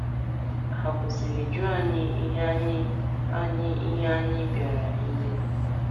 Ha kwụsịrị jụọ anyị ihe anyị anyị ihe anyị bịara ime?.